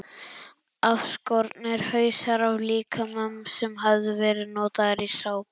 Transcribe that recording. Afskornir hausar af líkömum sem höfðu verið notaðir í sápur.